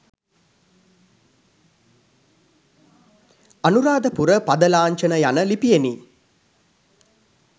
අනුරාධපුර පද ලාංඡන යන ලිපියෙනි.